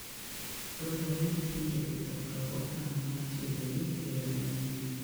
Dwarore ni jopith okaw okang' mar tiegogi e yore manyien.